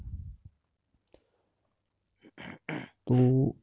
ਤੂੰ